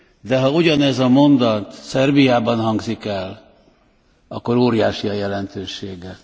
De ha ugyanez a mondat Szerbiában hangzik el, akkor óriási a jelentősége.